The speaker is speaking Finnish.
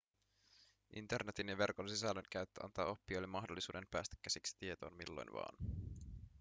internetin ja verkon sisällön käyttö antaa oppijoille mahdollisuuden päästä käsiksi tietoon milloin vain